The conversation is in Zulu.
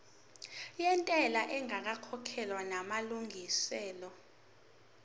yentela ingakakhokhwa namalungiselo